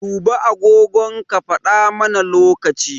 Duba agogon ka faɗa mana lokaci.